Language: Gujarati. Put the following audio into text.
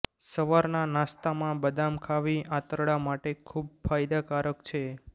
સવારના નાસ્તામાં બદામ ખાવી આંતરડા માટે ખૂબ ફાયદાકારક છે